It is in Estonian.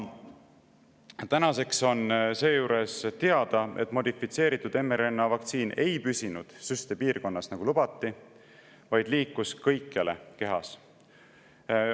Tänaseks on seejuures teada, et modifitseeritud mRNA vaktsiin ei püsi süstepiirkonnas, nagu lubati, vaid liigub kõikjale kehas.